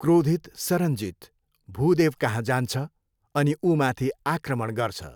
क्रोधित सरनजित भूदेवकहाँ जान्छ अनि ऊमाथि आक्रमण गर्छ।